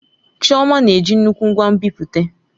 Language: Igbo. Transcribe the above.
Chioma na-eji nnukwu ngwa nbipute.